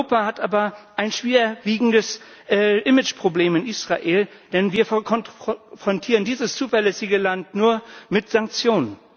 Europa hat aber ein schwerwiegendes Imageproblem in Israel, denn wir konfrontieren dieses zuverlässige Land nur mit Sanktionen.